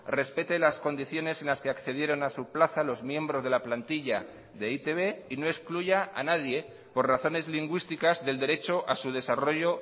respete las condiciones en las que accedieron a su plaza los miembros de la plantilla de e i te be y no excluya a nadie por razones lingüísticas del derecho a su desarrollo